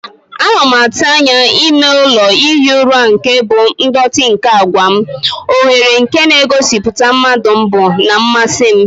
Ana m atụ anya ime ụlọ ihi ụra nke bụ ndọtị nke àgwà m, oghere nke na-egosipụta mmadu mbu na mmasị m.